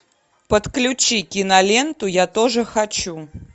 подключи киноленту я тоже хочу